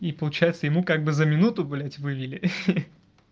и получается ему как бы за минуту блядь вылили